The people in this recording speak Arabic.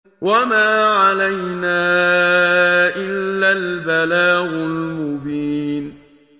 وَمَا عَلَيْنَا إِلَّا الْبَلَاغُ الْمُبِينُ